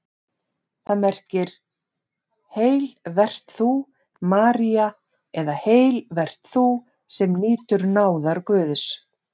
Það merkir: Heil vert þú, María eða Heil vert þú, sem nýtur náðar Guðs.